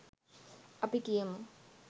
අපි කියමු